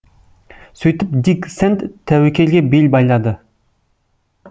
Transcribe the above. сөйтіп дик сэнд тәуекелге бел байлады